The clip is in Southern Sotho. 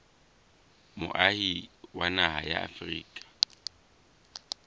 moahi wa naha ya afrika